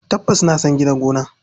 Tabbas na san gidan gona.